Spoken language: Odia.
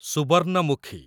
ସୁବର୍ଣ୍ଣମୁଖୀ